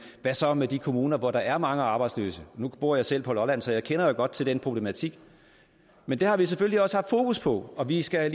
hvad så med de kommuner hvor der er mange arbejdsløse nu bor jeg selv på lolland så jeg kender jo godt til den problematik men det har vi selvfølgelig også haft fokus på og vi skal